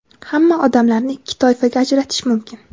Hamma odamlarni ikki toifaga ajratish mumkin.